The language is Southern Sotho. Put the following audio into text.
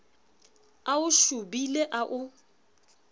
a o shobile a o